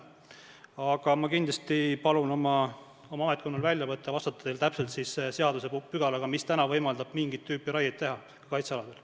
Aga ma kindlasti palun oma ametkonnal vastata teile täpse seadusepügalaga, mis täna võimaldab mingit tüüpi raiet kaitsealadel teha.